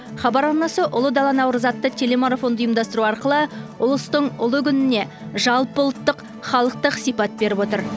хабар арнасы ұлы дала наурызы атты телемарафонды ұйымдастыру арқылы ұлыстың ұлы күніне жалпыұлттық халықтық сипат беріп отыр